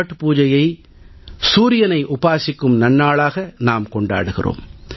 சத்பூஜை சூரியனை உபாசிக்கும் நன்னாள்